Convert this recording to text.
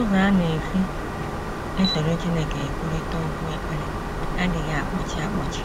Ụzọ a a na - esi esoro Chineke ekwurịta okwu ekpere adịghị akpọchi akpọchi